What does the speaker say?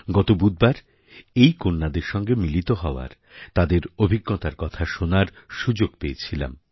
গত বুধবার এই কন্যাদের সঙ্গে মিলিত হওয়ার তাঁদের অভিজ্ঞতার কথা শোনার সুযোগ পেয়েছিলাম